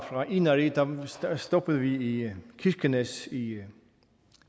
inari stoppede vi i kirkenes i